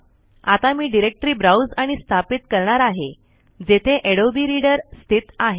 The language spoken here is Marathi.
आता मी डायरेक्टरी ब्राउज आणि स्थापित करणार आहे जेथे अडोबे रीडर स्थित आहे